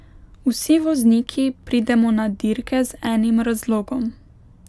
Vsi vozniki pridemo na dirke z enim razlogom.